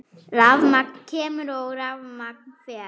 Rafmagn kemur og rafmagn fer.